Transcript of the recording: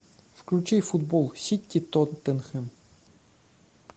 включи футбол сити тоттенхэм